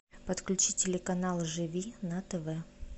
подключи телеканал живи на тв